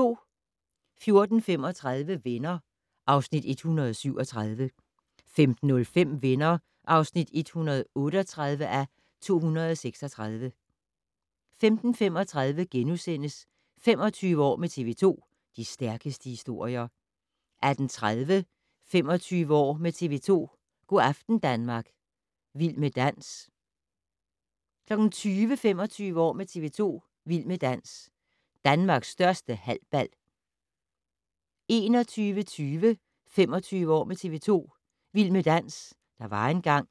14:35: Venner (Afs. 137) 15:05: Venner (138:236) 15:35: 25 år med TV 2: De stærkeste historier * 18:30: 25 år med TV 2: Go' aften Danmark - Vild med dans 20:00: 25 år med TV 2: Vild med dans - Danmarks største halbal 21:20: 25 år med TV 2: Vild med dans - der var engang.